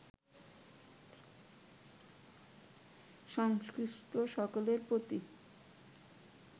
সংশ্লিষ্ট সকলের প্রতি